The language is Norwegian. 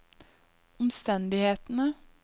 omstendighetene